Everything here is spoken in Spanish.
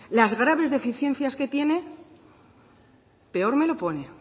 las graves deficiencias que tiene peor me lo pone